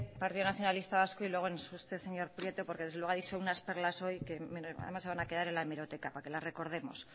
partido nacionalista vasco y luego en usted señor prieto porque desde luego ha dicho unas perlas hoy que se van a quedar en la hemeroteca para que las recordemos